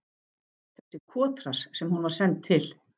Þessi kotrass sem hún var send til.